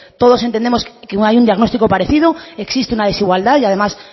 todos entendemos que hay un diagnóstico parecido existe una desigualdad y además